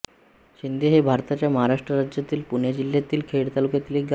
शिंदे हे भारताच्या महाराष्ट्र राज्यातील पुणे जिल्ह्यातील खेड तालुक्यातील एक गाव आहे